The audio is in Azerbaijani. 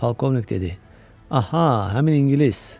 Polkovnik dedi: Aha, həmin ingilis.